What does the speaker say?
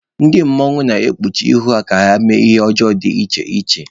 Ndị mmanwụ na-ekpuchi ihu ha eme ihe ọjọọ dị iche iche.